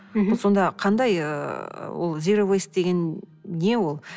мхм ол сонда қандай ыыы ол зироуэйс деген не ол